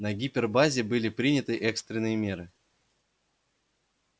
на гипербазе были приняты экстренные меры